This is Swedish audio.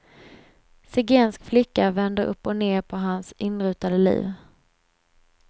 Zigensk flicka vänder upp och ned på hans inrutade liv.